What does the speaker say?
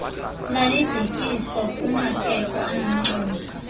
lalibhekiswa kumatheko anomculo